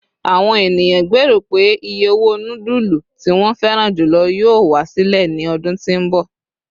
àwọn ènìyàn gbero pe iye owó nudulu tí won feran julo yíò wá sílẹ̀ ní ọdún tí nbọ